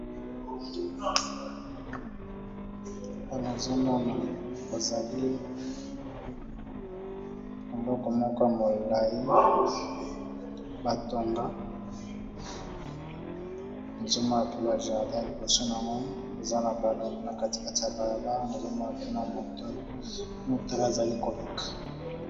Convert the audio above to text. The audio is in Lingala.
Awa nazomona kozali eloko moko ya molai batonga, nazomonape bajardin liboso nango eza na kati kati ya balabala. Nazomona pe motala azali koleka.